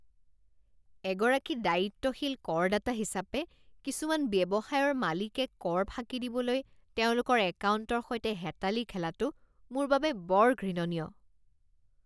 এগৰাকী দায়িত্বশীল কৰদাতা হিচাপে কিছুমান ব্যৱসায়ৰ মালিকে কৰ ফাঁকি দিবলৈ তেওঁলোকৰ একাউণ্টৰ সৈতে হেতালি খেলাটো মোৰ বাবে বৰ ঘৃণনীয়।